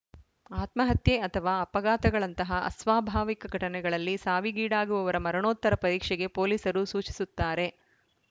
ಆತ್ಮಹತ್ಯೆ ಅಥವಾ ಅಪಘಾತಗಳಂತಹ ಅಸ್ವಾಭಾವಿಕ ಘಟನೆಗಳಲ್ಲಿ ಸಾವಿಗೀಡಾಗುವವರ ಮರಣೋತ್ತರ ಪರೀಕ್ಷೆಗೆ ಪೊಲೀಸರು ಸೂಚಿಸುತ್ತಾರೆ